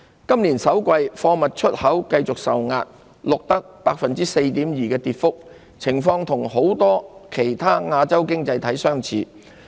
今年首季，貨物出口繼續受壓，錄得 4.2% 的跌幅，情況與很多其他亞洲經濟體相似。